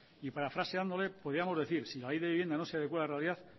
y parafraseándole podíamos decir si la ley de vivienda no se adecua a la realidad